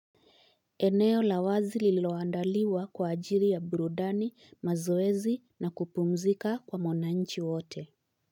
Eneo lawazi liloandaliwa kwa ajili ya burudani, mazoezi na kupumzika kwa monanchi wote.